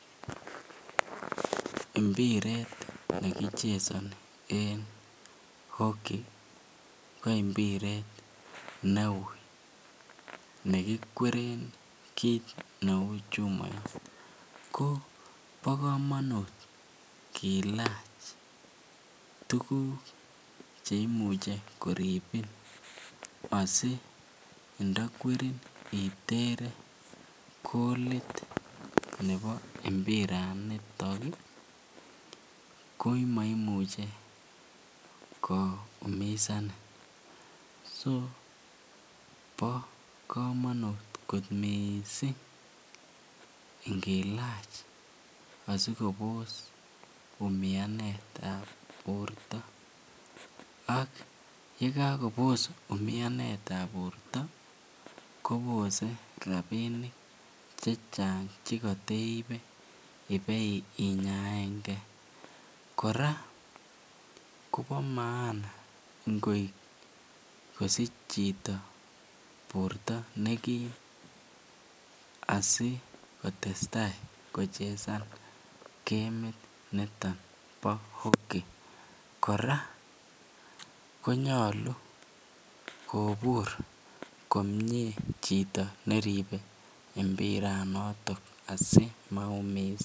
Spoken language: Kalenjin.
Mbiret nekichesoni en hockey ko mbiret neuu nekikweren kiit neuu chumoyot, ko bokomonutt kilach tukuk cheimuche koribin asindo kwerin iteren koliit nebo imbiranitok ko moimuche koumisani, so bokomonut kot mising ingilach asikobos umianetab borto, ak yekakobos umianetab borto kobose rabinik chechang chekoteibe ibeinyaenge, kora kobo maana ngosich chito borto nekim asikotesta kochesan kemit niton bo hockey, kora konyolu kobur komnye chito neribe mbiranoton asimaumisan.